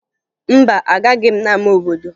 Mba, agaghị m n'ama obodo